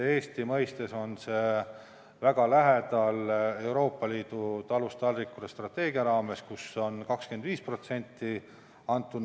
See on väga lähedal Euroopa Liidu „Talust taldrikule“ strateegia raames ette antud 25%-le.